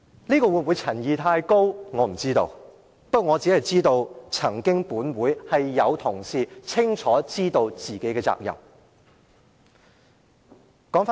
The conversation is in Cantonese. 不過，我知道本會曾經有同事，清楚知道自己有何責任。